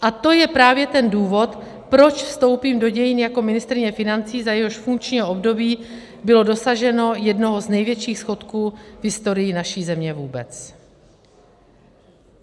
A to je právě ten důvod, proč vstoupím do dějin jako ministryně financí, za jejíhož funkčního období bylo dosaženo jednoho z největších schodků v historii naší země vůbec.